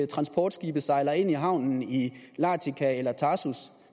transportskibe sejler ind i havnen i latika eller tartus